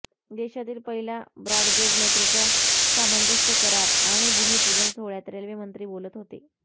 देशातील पहिल्या ब्रॉडगेज मेट्रोच्या सामंजस्य करार आणि भूमिपूजन सोहळ्यात रेल्वेमंत्री बोलत होते